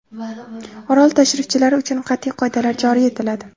Orol tashrifchilari uchun qat’iy qoidalar joriy etiladi.